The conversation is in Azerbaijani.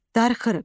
Darıxırıq.